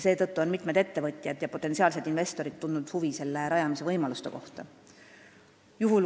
Seetõttu on mitmed ettevõtjad ja potentsiaalsed investorid tundnud huvi selle rajamise võimaluste kohta.